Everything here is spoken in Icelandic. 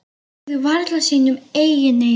Trúðu varla sínum eigin eyrum.